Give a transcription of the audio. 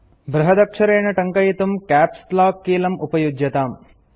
बृहदक्षरेण टङ्कयितुं caps lock कीलं उपयुज्यताम्